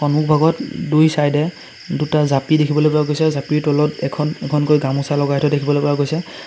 সন্মুখভাগত দুই-চাইডে এ দুটা জাপি দেখিবলৈ পোৱা গৈছে আৰু জাপিৰ তলত এখন এখনকৈ গামোচা লগাই থোৱা দেখিবলৈ পোৱা গৈছে।